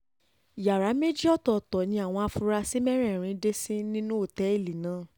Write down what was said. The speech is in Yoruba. yàrá méjì ọ̀tọ̀ọ̀tọ̀ ni àwọn afurasí mẹ́rẹ̀ẹ̀rin dé sí nínú òtẹ́ẹ̀lì náà